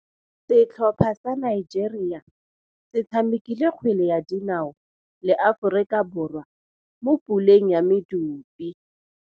Setlhopha sa Nigeria se tshamekile kgwele ya dinaô le Aforika Borwa mo puleng ya medupe.